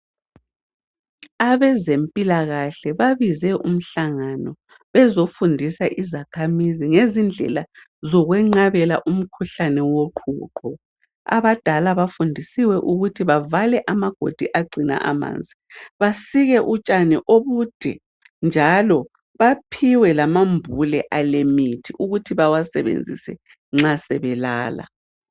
Abezempilakahle babize umhlangano bezofundisa izakhamizi ngezindlela zokwenqabela umkhuhlane woqhuqho. Abadala bafundisiwe ukuthi bavale amagodi agcina amanzi basike utshani obude njalo baphiwe lamambule alemithi ukuthi bewasebenzise nxa sebelala.